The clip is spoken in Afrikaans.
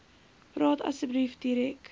praat asseblief direk